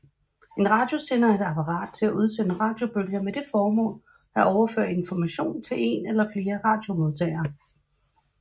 En radiosender er et apparat til at udsende radiobølger med det formål at overføre information til en eller flere radiomodtagere